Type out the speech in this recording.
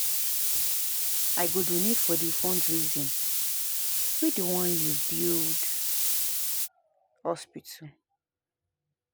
I go donate for di fundraising wey dey wan use build hospital.